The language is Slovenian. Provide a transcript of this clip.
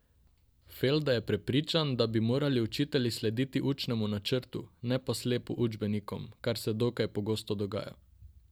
Felda je prepričan, da bi morali učitelji slediti učnemu načrtu, ne pa slepo učbenikom, kar se dokaj pogosto dogaja.